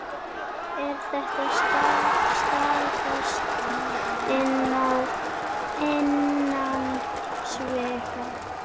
Er það staðfest innan sviga?